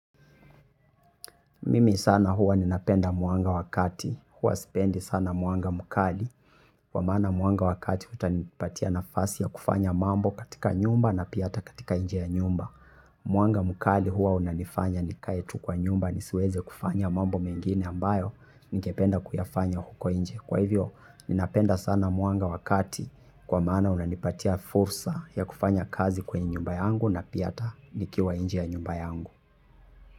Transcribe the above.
Mimi sana huwa ninapenda mwanga wa kati huwa sipendi sana mwanga mukali kwa maana mwanga wa kati utanipatia nafasi ya kufanya mambo katika nyumba na pia hata katika nje ya nyumba. Mwanga mkali huwa unanifanya nikae tu kwa nyumba nisiweze kufanya mambo mengine ambayo ningependa kuyafanya huko nje. Kwa hivyo ninapenda sana mwanga wa kati kwa maana unanipatia fursa ya kufanya kazi kwenye nyumba yangu na pia hata nikiwa inje ya nyumba yangu.